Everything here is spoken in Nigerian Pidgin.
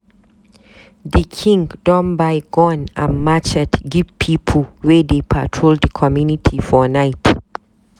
Di king don buy gun and matchet give pipu wey dey patrol di community for night.